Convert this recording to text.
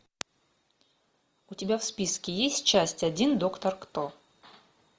у тебя в списке есть часть один доктор кто